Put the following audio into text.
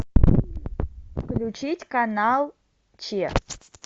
включить канал че